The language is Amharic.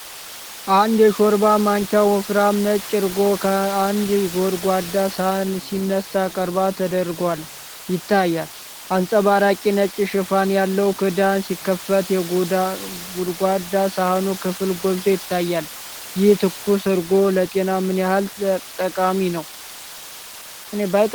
አንድ የሾርባ ማንኪያ ወፍራም ነጭ እርጎ ከአንድ ጎድጓዳ ሳህን ሲነሳ ቀረብ ተደርጎ ይታያል። አንጸባራቂ ነጭ ሽፋን ያለው ክዳን ሲከፈት የጎድጓዳ ሳህኑ ክፍል ጎልቶ ይታያል። ይህ ትኩስ እርጎ ለጤና ምን ያህል ጠቃሚ ነው?